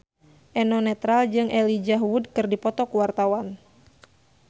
Eno Netral jeung Elijah Wood keur dipoto ku wartawan